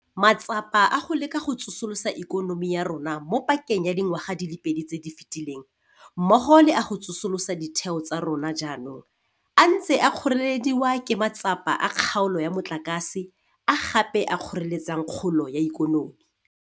Matsapa a go leka go tsosolosa ikonomi ya rona mo pakeng ya dingwaga di le pedi tse di fetileng mmogo le a go tsolosola ditheo tsa rona jaanong a ntse a kgoreledi wa ke matsapa a kgaolo ya motlakase, a gape a kgoreletsang kgolo ya ikonomi.